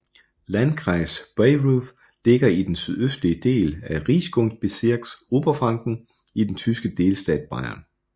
Landkreis Bayreuth ligger i den sydøstlige del af Regierungsbezirks Oberfranken i den tyske delstat Bayern